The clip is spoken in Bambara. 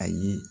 Ayi